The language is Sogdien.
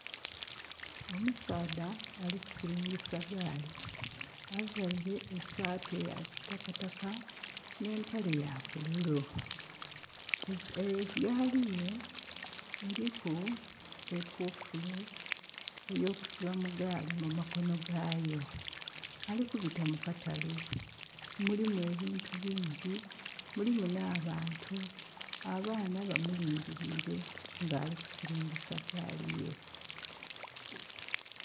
Omusaadha ali ku silingisa gaali. Availe e saati eya kitakataka,.nh'empale ya bululu. Egaali ye eliku ekufulu eyokusiba mu gaali mu makono gaayo. Ali kubita mu katale. Mulimu ebintu bingyi, nulimu nh'abantu. Abaana bamulingiliire ng'ali ku silingisa gaali ye.